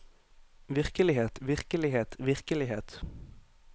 virkelighet virkelighet virkelighet